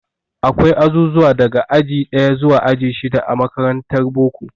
Akwai azuzuwa daga aji ɗaya zuwa aji shida a makarantar boko.